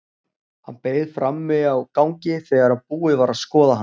Hann beið frammi á gangi þegar búið var að skoða hann.